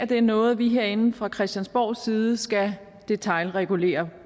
det er noget vi herinde fra christiansborgs side skal detailregulere